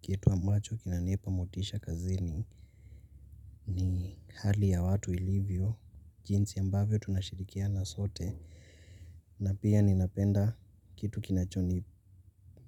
Kitu ambacho kinanipa motisha kazini ni hali ya watu ilivyo, jinsi ambavyo tunashirikiana sote na pia ninapenda kitu kinacho